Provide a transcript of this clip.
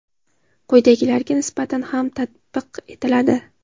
quyidagilarga nisbatan ham tatbiq etiladi:.